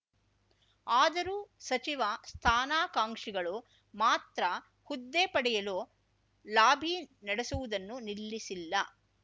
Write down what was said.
ಆದರೂ ಸಚಿವ ಸ್ಥಾನಾಕಾಂಕ್ಷಿಗಳು ಮಾತ್ರ ಹುದ್ದೆ ಪಡೆಯಲು ಲಾಬಿ ನಡೆಸುವುದನ್ನು ನಿಲ್ಲಿಸಿಲ್ಲ